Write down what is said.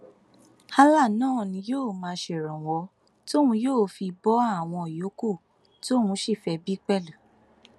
allah náà ni yóò máa ṣèrànwọ tóun yóò fi bo àwọn yòókù tóun sì fẹẹ bí pẹlú